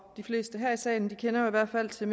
de fleste her i salen kender i hvert fald til